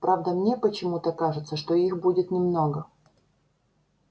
правда мне почему-то кажется что их будет немного